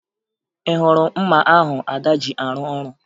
Ị hụrụ mma ahụ Ada ji arụ ọrụ?